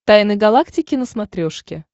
тайны галактики на смотрешке